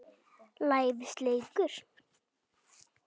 lævís leikur.